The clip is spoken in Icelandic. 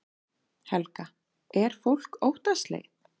Helga: Er fólk óttaslegið?